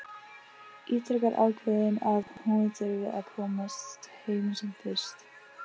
Ítrekar ákveðin að hún þurfi að komast heim sem fyrst.